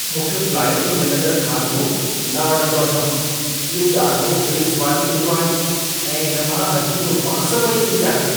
मूंखे फ्लाइट में मिलंदड़ खाधो न वणंदो अथमि। इहो ॾाढो बेस्वादी हूंदो आहे ऐं इन मां अजीब बांस पई ईंदी आहे।